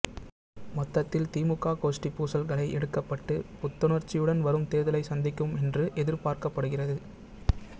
மொத்தத்தில் திமுக கோஷ்டிப் பூசல்கள் களை எடுக்கப்பட்டு புத்துணர்ச்சியுடன் வரும் தேர்தலை சந்திக்கும் என்று எதிர்பார்க்கப்படுகிறது